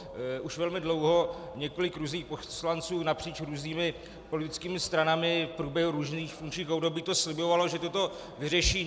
Už velmi dlouho několik různých poslanců napříč různými politickými stranami v průběhu různých funkčních období to slibovalo, že toto vyřeší.